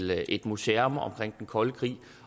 et museum om den kolde krig